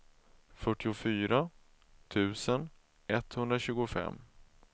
fyrtiofyra tusen etthundratjugofem